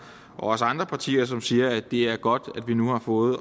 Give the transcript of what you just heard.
også fra andre partier som siger at det er godt at vi nu har fået